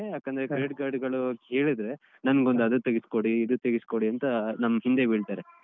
ಯಾಕಂದ್ರೆ Credit Card ಗಳು ಕೇಳಿದ್ರೆ ನನ್ಗೊಂದು ಅದು ತೆಗಿಸ್ಕೊಡಿ ಇದು ತೆಗಿಸ್ಕೊಡಿ ಅಂತ ನಮ್ ಹಿಂದೆ ಬೀಳ್ತಾರೆ.